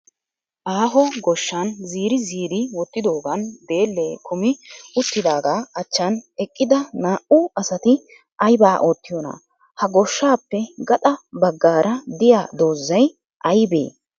Aaho goshshan ziri ziri wottidoogan deellee kumi uttidaagaa achchan eqqida naa"u asati ayibaa oottiyoona? Ha goshshaappe gaxa baggaara diya dozzay ayibee?